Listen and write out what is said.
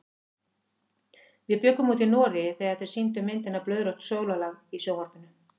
Við bjuggum úti í Noregi þegar þeir sýndu myndina Blóðrautt sólarlag í sjónvarpinu.